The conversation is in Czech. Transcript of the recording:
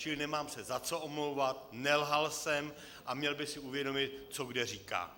Čili nemám se za co omlouvat, nelhal jsem a měl by si uvědomit, co kde říká.